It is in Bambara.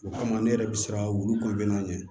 O kama ne yɛrɛ bi siran wulu kɔnɔna ɲɛ